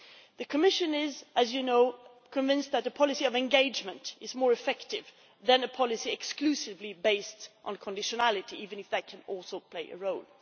The Commission is, as you know, convinced that the policy of engagement is more effective than a policy exclusively based on conditionality, even if that can also play a role.